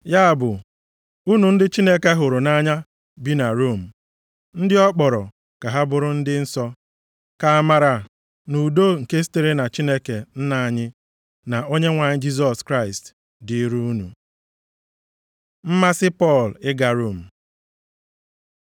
Ya bụ, unu ndị Chineke hụrụ nʼanya bi na Rom, ndị ọ kpọrọ ka ha bụrụ ndị nsọ: Ka amara na udo nke sitere na Chineke Nna anyị, na Onyenwe anyị Jisọs Kraịst dịrị unu. Mmasị Pọl ịga Rom